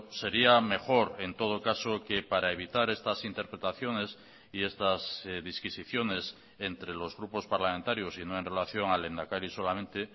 sería mejor en todo caso que para evitar estas interpretaciones y estas disquisiciones entre los grupos parlamentarios y no en relación al lehendakari solamente